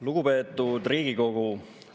Lugupeetud Riigikogu!